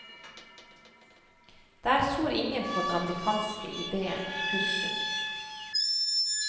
Der tror ingen på den amerikanske idéen. punktum